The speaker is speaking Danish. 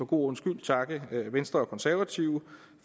god ordens skyld takke venstre og konservative